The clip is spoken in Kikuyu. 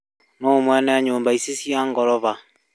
Nũũ mwene nyũmba ici cia ngoroba?